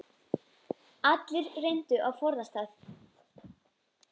Allir reyndu að forðast það.